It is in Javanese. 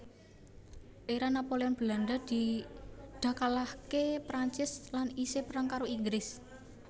Era Napoleon Belanda dakalahke Perancis lan iseh perang karo Inggris